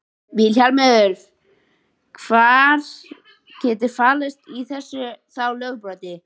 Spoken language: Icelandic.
Vilhjálmur, hvað getur falist í þessu þá lögbroti?